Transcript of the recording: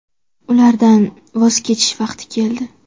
Ulardan voz kechish vaqti keldi.